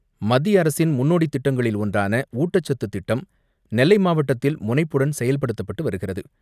மத்திய அரசின் முன்னோடித் திட்டங்களில் ஒன்றான ஊட்டச்சத்து திட்டம் நெல்லை மாவட்டத்தில் முனைப்புடன் செயல்படுத்தப்பட்டு வருகிறது.